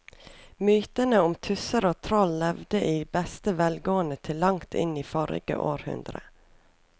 Mytene om tusser og troll levde i beste velgående til langt inn i forrige århundre.